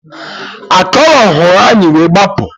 Akọrọ hụrụ anyị wee gbapụ